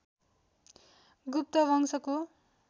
गुप्त वंशको